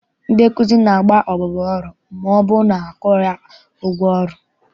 Ndị nkụzi na-agba abụba ọrụ ma ọbụrụ na akwụghị ha ụgwọ ọrụ.